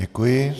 Děkuji.